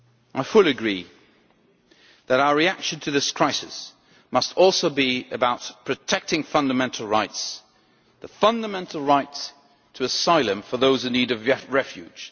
I fully agree that our reaction to this crisis must also be about protecting fundamental rights the fundamental right to asylum for those in need of refuge